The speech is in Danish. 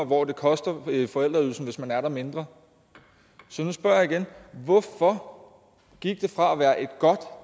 hvor det koster forældreydelsen hvis man er der mindre så nu spørger jeg igen hvorfor gik det fra at være et godt